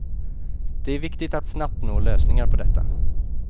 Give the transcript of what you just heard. Det är viktigt att snabbt nå lösningar på detta.